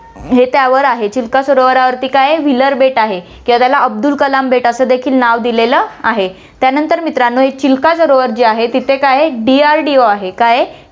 हे त्यावर आहे, चिल्का सरोवरावरती काय आहे, व्हीलर बेट आहे किंवा अब्दुल कलाम बेट असे देखील नाव दिलेलं आहे. त्यानंतर मित्रांनो, हे चिल्का सरोवर जे आहे, तिथे काय आहे DRDO, काय आहे